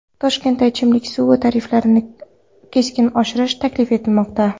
Toshkentda ichimlik suvi tariflarini keskin oshirish taklif etilmoqda.